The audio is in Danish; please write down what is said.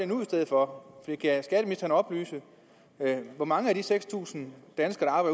nu i stedet for kan skatteministeren oplyse hvor mange af de seks tusind danskere